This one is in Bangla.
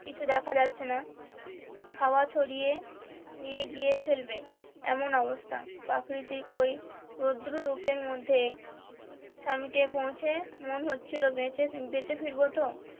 কিছু দেখা যাচ্ছেনা হাওয়া ছড়িয়ে নিয়ে গিয়ে ফেলবে এমন অবস্থা প্রাকৃতিক ওই রোদ্রু রূপে মধ্যে সামিটে পৌঁছে মনে হচ্ছিলো বেঁচে বেঁচে ফিরবো তো